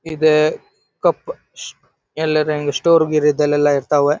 ಈದ್ ಕಪ್ ಎಲ್ಲಾರಂಗ್ ಸ್ಟೋರ್ ಗೀರ್ ಇದ್ದಲ್ಲೆಲ್ಲಾ ಇರತ್ವೇ.